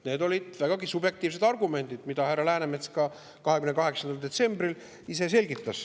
Need olid vägagi subjektiivsed argumendid, mida härra Läänemets ka 28. detsembril ise selgitas.